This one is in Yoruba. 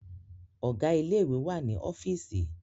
Ọ̀gá ilé ìwé wà ní ọ́fììsì.